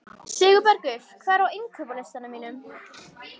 Sigurbergur, hvað er á innkaupalistanum mínum?